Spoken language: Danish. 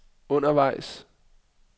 undervejs